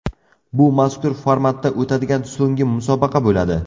Bu mazkur formatda o‘tadigan so‘nggi musobaqa bo‘ladi.